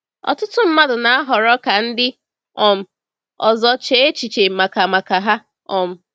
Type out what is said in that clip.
Ọtụtụ mmadụ na-ahọrọ ka ndị um ọzọ chee echiche maka maka ha. um